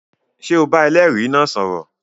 Ṣé o bá ẹlẹ́rìí náà sọ̀rọ̀?